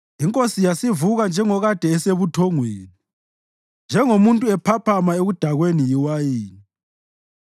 INkosi yasivuka njengokade esebuthongweni, njengomuntu ephaphama ekudakweni yiwayini.